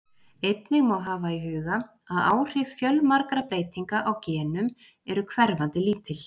Einnig má hafa í huga að áhrif fjölmargra breytinga á genum eru hverfandi lítil.